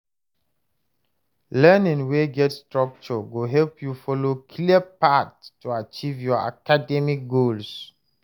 Learning wey get structure go help you follow clear path to achieve your academic goals.